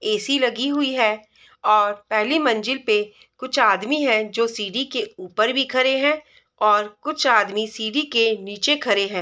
AC. लगी हुई है और पहली मंजिल पे कुछ आदमी है जो सीढ़ी के ऊपर खड़े हैं और कुछ आदमी सीढ़ी के नीचे भी खड़े हैं।